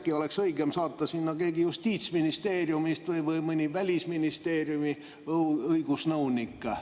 Äkki oleks õigem saata sinna keegi Justiitsministeeriumist või mõni Välisministeeriumi õigusnõunik?